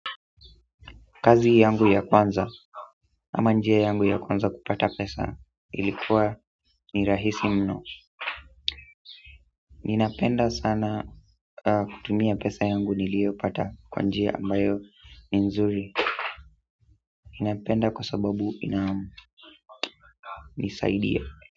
Kazi yangu ya kwanza ama njia yangu ya kwanza kupata pesa ilikuwa ni rahisi mno ninapenda sana kutumia pesa yangu nilio pata kwa njia ambayo ni nzuri ninapenda kwa sababu inanisaidia.